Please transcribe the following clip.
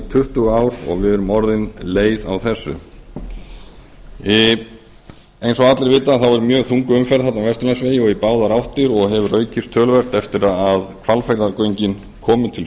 tuttugu ár og við erum orðin leið á þessu eins og allir vita er mjög þung umferð þarna á vesturlandsvegi í báðar áttir og hefur hún aukist töluvert eftir að hvalfjarðargöngin komu til